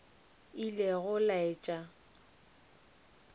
ilego a laetša go se